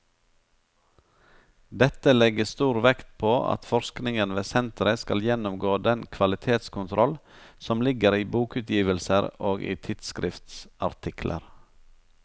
Dette legges stor vekt på at forskningen ved senteret skal gjennomgå den kvalitetskontroll som ligger i bokutgivelser og i tidsskriftsartikler.